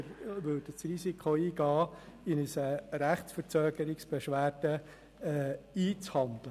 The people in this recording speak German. Wir würden das Risiko eingehen, uns Beschwerden wegen Rechtsverzögerung einzuhandeln.